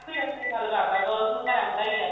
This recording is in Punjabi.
ਇੱਦਾਂ ਹੀ ਗੱਲ ਕਰਦਾ girls ਨੂੰ ਤਾਂ ਰਹਿੰਦਾ ਹੀ ਆ